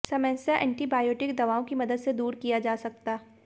समस्या एंटीबायोटिक दवाओं की मदद से दूर किया जा सकता